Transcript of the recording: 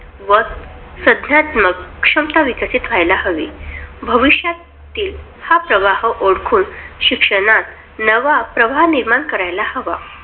व संज्ञानात्मक क्षमता विकसित व्हायला हवी. भविष्यातील हा प्रवाह ओळखून शिक्षणात नवा प्रवाह निर्माण करायला हवा.